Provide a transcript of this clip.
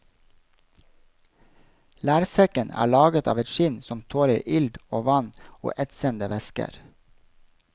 Lærsekken er laget av et skinn som tåler ild og vann og etsende væsker.